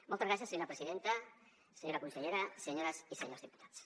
moltes gràcies senyora presidenta senyora consellera senyores i senyors diputats